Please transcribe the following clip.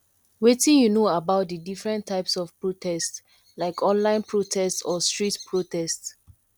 wetin you know about di different types of protest like online protests or street protest